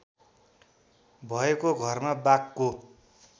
भएको घरमा बाघको